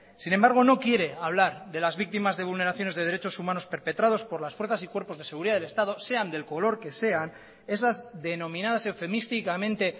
sin embargo no quiere hablar de las víctimas de vulneraciones de derechos humanos perpetrados por las fuerzas y cuerpos de seguridad del estado sean del color que sean esas denominadas eufemísticamente